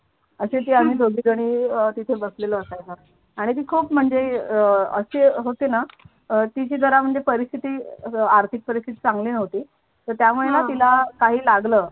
अशी शी आम्ही दोघीजणी अह तिथे बसलेलो असायचो आणि ती खूप म्हणजे अह अशी होती ना तिची जरा म्हणजे परिस्थिती आर्थिक परिस्थिती चांगली नव्हती तर त्यामुळे ना तिला काही लागलं.